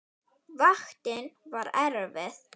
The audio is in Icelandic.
Vaktin var erfið.